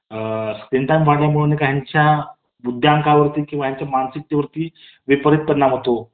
अ.. screen time वाढल्यामुळे काहींच्या बुद्धीवरती किंवा मानसिकतेवरती विपरीत परिणाम होतो .